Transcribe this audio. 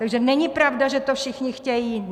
Takže není pravda, že to všichni chtějí.